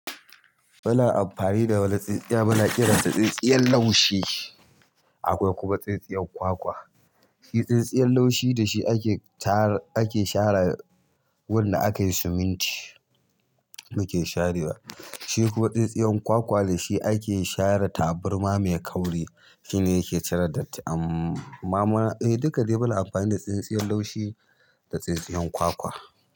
Muna amfani da wani tsintsiya muna kiransa tsintsiyar laushi akwai kuma tsintsiyar kwakwa. Tsintsiyar laushi da shi ake share wanda akayi siminti muke sharewa. Shi kuwa tsintsiyar kwakwa da shi ake share taburma mai kauri shine yake cire datti. Amma duka dai muna amfani da tsintsiyar laushi da tsintsiyar kwakwa.